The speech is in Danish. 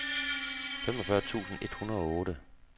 femogfyrre tusind et hundrede og otte